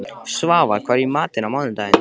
Svafar, hvað er í matinn á mánudaginn?